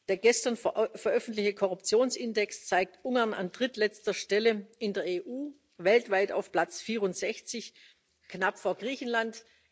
Der gestern veröffentlichte Korruptionsindex zeigt Ungarn an drittletzter Stelle in der EU, weltweit auf Platz 64, knapp vor Griechenland.